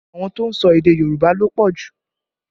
Àwọn tó ń sọ èdè Yorùbá ló pọ̀ jù